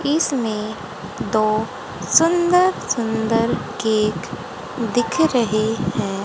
इसमें दो सुंदर सुंदर केक दिख रहे हैं।